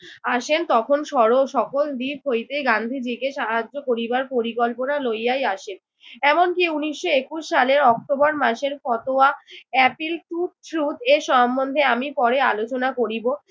আসেন তখন সরল সকল দিক হইতেই গান্ধীজিকে সাহায্য করিবার পরিকল্পনা লইয়াই আসেন। এমনকি উনিশশো একুশ সালে অক্টোবর মাসের ফতোয়া appeal took এ সম্বন্ধে আমি পরে আলোচনা করিব।